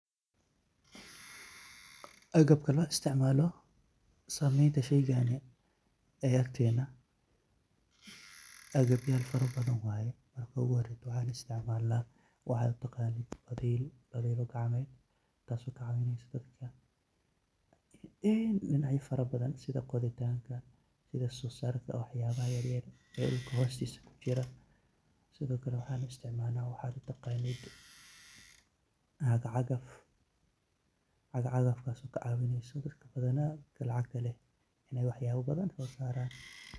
Akabka la isticmaloh sameeynta sheeygani akabyal farabadhan waye, marka waxa la isticmalah adiga waxa u taqanit fathek kacmeet taasi kacawineysoh ini meel farabadhan sitha qothitanga suu sarka waxyabaha yaryar ee dulka hoostisa kujirah midakali waxa isticmalnah waxa u taqanit cagacagaf oo kacaweneysih dadka bathana Ina waxyabo bathan sosaran.